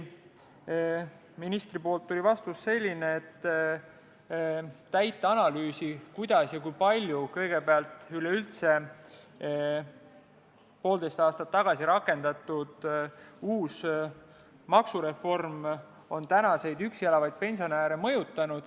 Ministri vastus oli, et pole täielikku analüüsi, kuidas ja kui palju poolteist aastat tagasi rakendatud uus maksureform on üksi elavaid pensionäre mõjutanud.